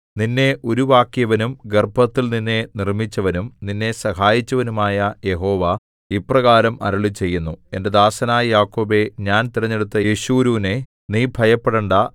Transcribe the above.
നിന്നെ ഉരുവാക്കിയവനും ഗർഭത്തിൽ നിന്നെ നിർമ്മിച്ചവനും നിന്നെ സഹായിച്ചവനുമായ യഹോവ ഇപ്രകാരം അരുളിച്ചെയ്യുന്നു എന്റെ ദാസനായ യാക്കോബേ ഞാൻ തിരഞ്ഞെടുത്ത യെശുരൂനേ നീ ഭയപ്പെടണ്ടാ